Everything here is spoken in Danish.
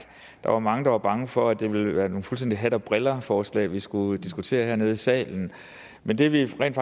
der var mange der var bange for at det ville være nogle fuldstændig hat og briller forslag vi skulle diskutere hernede i salen men det vi rent